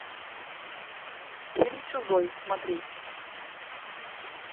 фильм чужой смотреть